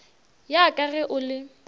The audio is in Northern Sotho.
ya ka ge o le